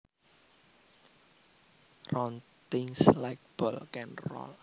Round things like balls can roll